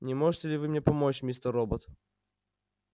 не можете ли вы мне помочь мистер робот